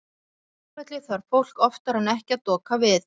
Á flugvelli þarf fólk oftar en ekki að doka við.